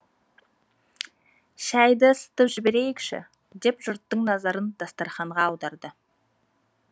шәйді ысытып жіберейікші деп жұрттың назарын дастарханға аударды